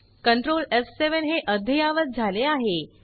control एफ7 हे अद्ययावत झाले आहे